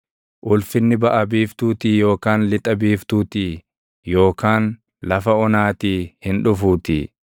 Ulfinni baʼa biiftuutii yookaan lixa biiftuutii yookaan lafa onaatii hin dhufuutii.